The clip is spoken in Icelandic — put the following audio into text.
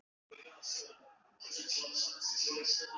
LÁRUS: Ég veit ekki annað.